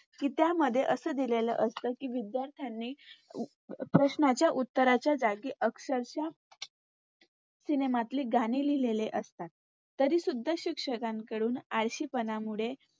कि त्यामध्ये असे दिलेलं असते कि विद्यार्थ्यांनी प्रश्नाच्या उत्तराच्या जागी अक्षरशः सिनेमातली गाणी लिहलेली असतात. तरी सुध्दा शिक्षकांकडून आळशीपणामुळे